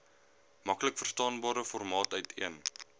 maklikverstaanbare formaat uiteen